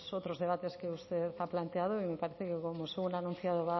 otros debates que usted ha planteado y me parece que como según ha anunciado